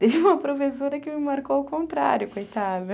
Teve uma professora que me marcou ao contrário, coitada.